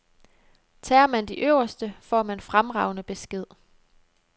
Tager man de øverste, får man fremragende besked.